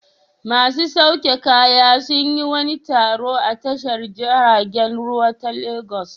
Masu sauke kaya sun yi wani taro a tashar jiragen ruwa ta Legas.